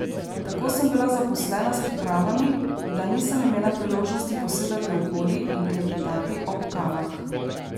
Tako sem bila zaposlena s pripravami, da nisem imela priložnosti posedati okoli in klepetati ob kavah.